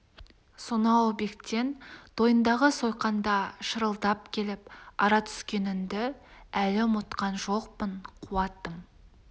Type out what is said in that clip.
сонау бектен тойындағы сойқанда шырылдап келіп ара түскеніңді әлі ұмытқан жоқпын қуатым